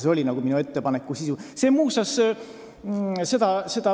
See oli minu ettepaneku sisu.